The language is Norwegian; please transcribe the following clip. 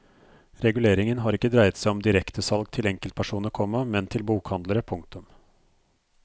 Reguleringen har ikke dreiet seg om direktesalg til enkeltpersoner, komma men til bokhandlere. punktum